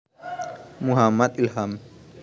Muhammad Ilham